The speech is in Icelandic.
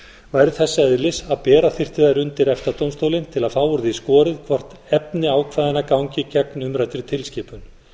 væru þess eðlis að bera þyrfti þær undir efta dómstólinn til að fá úr því skorið hvort efni ákvæðanna gangi gegn umræddri tilskipun